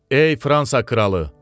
Ey Fransa kralı.